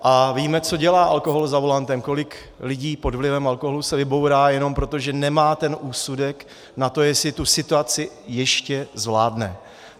A víme, co dělá alkohol za volantem, kolik lidí pod vlivem alkoholu se vybourá jenom proto, že nemá ten úsudek na to, jestli tu situaci ještě zvládne.